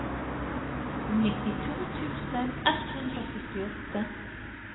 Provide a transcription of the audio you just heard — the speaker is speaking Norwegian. nittito tusen ett hundre og syttiåtte